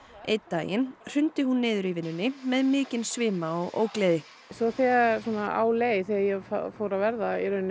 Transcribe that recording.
einn daginn hrundi hún niður í vinnunni með mikinn svima og ógleði svo þegar á leið þegar ég fór að verða